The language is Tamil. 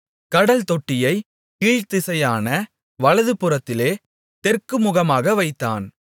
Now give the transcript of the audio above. கடல்தொட்டியைக் கீழ்த்திசையான வலதுபுறத்திலே தெற்குமுகமாக வைத்தான்